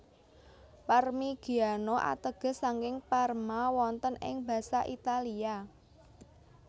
Parmigiano ateges saking Parma wonten ing Basa Italia